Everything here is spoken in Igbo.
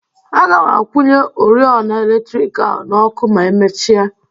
Aga m akwụnye oriọna eletriki ahụ n'ọkụ ma emechia.